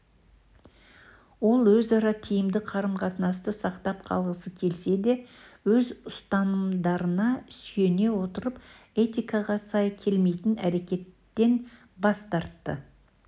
ол өзара тиімді қарым-қатынасты сақтап қалғысы келсе де өз ұстанымдарына сүйене отырып этикаға сай келмейтін әрекеттен бас тартты